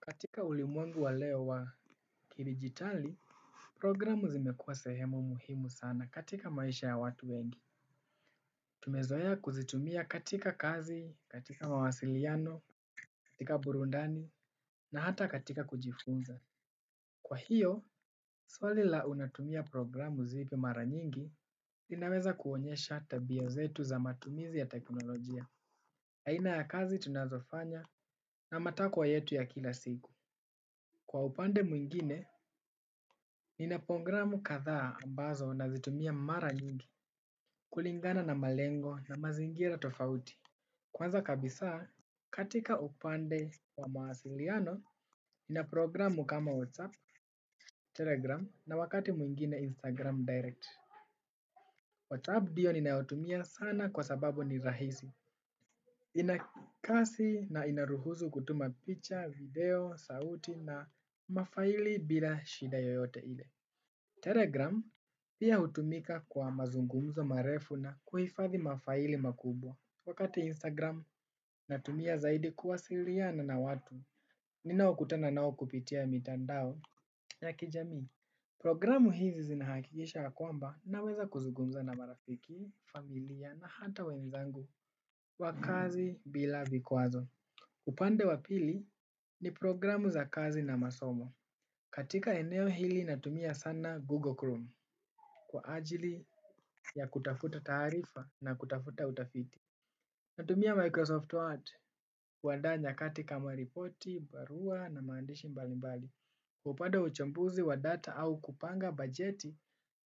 Katika ulimwengu wa leo wa kidigitali, programu zimekua sehemu muhimu sana katika maisha ya watu wengi. Tumezoea kuzitumia katika kazi, katika mawasiliano, katika burudani, na hata katika kujifunza. Kwa hiyo swali la unatumia programu mara nyingi linaweza kuonyesha tabia zetu za matumizi ya teknolojia aina ya kazi tunazofanya na matakwa yetu ya kila siku. Kwa upande mwingine, nina programu kadhaa ambazo nazitumia mara nyingi, kulingana na malengo na mazingira tofauti. Kwanza kabisa, katika upande wa mahasiliano, nina programu kama WhatsApp, Telegram na wakati mwingine Instagram Direct. WhatsApp ndio ninayotumia sana kwa sababu ni rahisi. Inakasi na inaruhusu kutuma picture, video, sauti na mafaili bila shida yoyote ile. Telegram pia hutumika kwa mazungumzo marefu na kuhifadhi mafaili makubwa. Wakati Instagram natumia zaidi kuwasiliana na watu. Ninao kutana nao kupitia mitandao ya kijami programu hii zinahakikisha ya kwamba naweza kuzungumza na marafiki familia na hata wenzangu kwa kazi bila vikwazo upande wa pili ni programu za kazi na masomo katika eneo hii natumia sana google chrome kwaajili ya kutafuta taarifa na kutafuta utafiti. Natumia Microsoft Word kuandaa nyakati kama ripoti, barua na maandishi mbalimbali. Upande wa uchambuzi wa data au kupanga bajeti.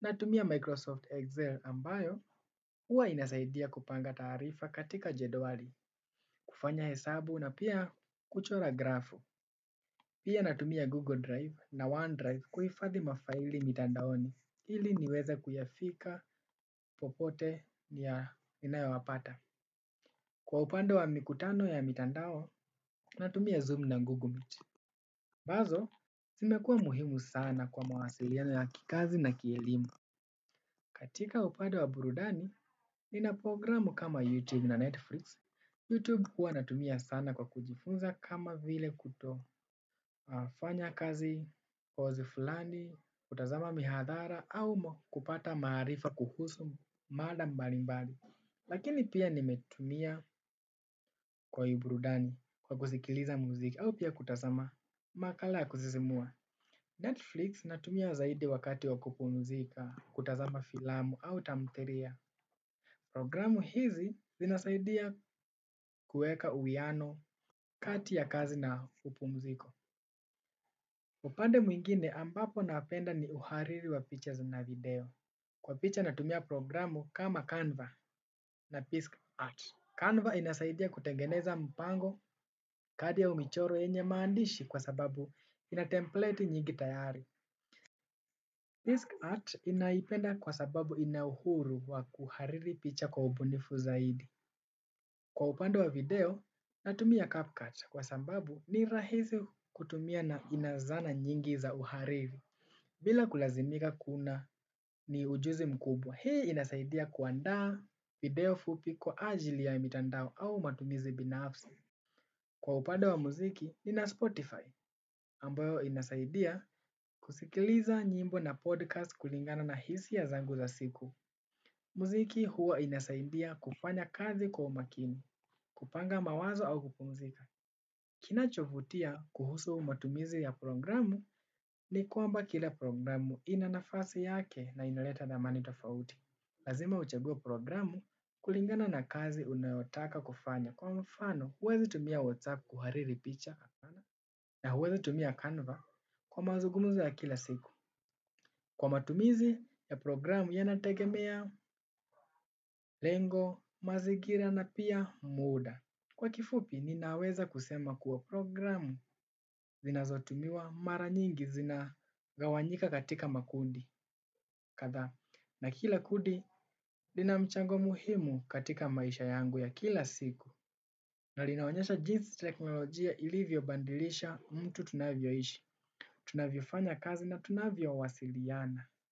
Natumia Microsoft Excel ambayo huwa inasaidia kupanga tarifa katika jedwali. Kufanya hesabu na pia kuchora grafu. Pia natumia Google Drive na OneDrive kuifadhi mafaili mitandaoni. Ili niweze kuyafika popote ya ninayo yapata. Kwa upande wa mikutano ya mitandao, natumia Zoom na Google Meet. Ambazo, zimekua muhimu sana kwa mawasiliano ya kikazi na kielimu. Katika upande wa burudani, ninapogramu kama YouTube na Netflix. YouTube huwa natumia sana kwa kujifunza kama vile kuto fanya kazi, course fulani, kutazama mihadhara au kupata maarifa kuhusu mada mbali mbali. Lakini pia nimetumia kwenye burudani. Kwa kuzikiliza muziki au pia kutazama makala ya kusisimua Netflix natumia zaidi wakati wakupumzika. Kutazama filamu au tamthilia. Programu hizi zinasaidia kueka uwiano kati ya kazi na kupumuziko. Upande mwingine ambapo napenda ni uhariri wa pictures na video. Kwa picha natumia programu kama Canva na PiskArt. Canva inasaidia kutengeneza mpango kadi au michoro yenye maandishi kwa sababu ina templeti nyingi tayari PiskArt inaipenda kwa sababu ina uhuru wa kuhariri picha kwa ubunifu zaidi. Kwa upande wa video, natumia CupCut kwa sababu ni rahisi kutumia na inazana nyingi za uhariri. Bila kulazimika kuna ni ujuzi mkubwa, hei inasaidia kuaandaa video fupi kwa ajili ya mitandao au matumizi binafsi. Kwa upande wa muziki, nina Spotify, ambayo inasaidia kusikiliza nyimbo na podcast kulingana na hisia zangu za siku. Muziki huwa inasaidia kufanya kazi kwa makini, kupanga mawazo au kupumzika. Kinachovutia kuhusu matumizi ya programu ni kwamba kila programu ina nafasi yake na inaleta thamani tofauti. Lazima uchegue programu kulingana na kazi unayotaka kufanya. Kwa mfano, huwezi tumia WhatsApp kuhariri picha na huwezi tumia Canva kwa mazugumuzo ya kila siku. Kwa matumizi ya programu ya nategemea, lengo, mazigira na pia muda. Kwa kifupi ninaweza kusema kuwa programu zinazotumiwa mara nyingi zina gawanyika katika makundi, kadhaa na kila kudi lina mchango muhimu katika maisha yangu ya kila siku. Na linaonyesha jinsi teknolojia ilivyo bandilisha mtu tunavyo ishi, tunavyo fanya kazi na tunavyo wasiliana.